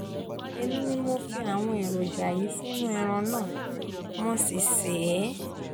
èmi ni mo fi àwọn èròjà yìí sínú ẹran náà mo sì sè é